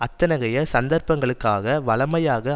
அத்தகைய சந்தர்ப்பங்களுக்காக வழமையாக